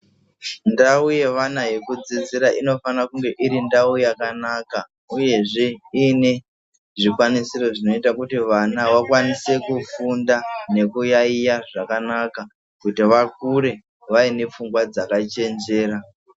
Ndau yevana yekudzidzira infana kunge iri ndau yakanaka uyezve iine zvikwanisiro zvinoita kuti vana vakwanise kufunda nekuyaiya zvakanaka kuti vakure vaine pfungwa dzakachenjera.